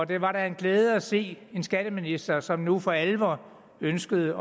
det da en glæde at se en skatteminister som nu for alvor ønskede